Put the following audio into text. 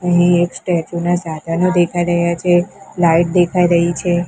અહીં એક ના સાધનો દેખાય રહ્યા છે લાઇટ દેખાય રહી છે.